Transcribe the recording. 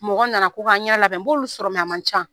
Mɔgɔ nana ko n ka n ɲɛda labɛn, n b'olu sɔrɔ a man ca.